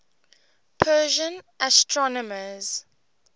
persian astronomers